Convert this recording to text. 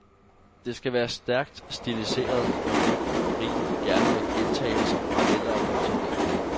Det skal være stærkt stiliseret, med rytme og rim, gerne med gentagelser, paralleller og modstillinger.